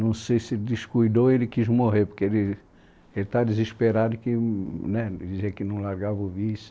Não sei se descuidou, ele quis morrer, porque ele estava desesperado, que né dizia que não largava o vício.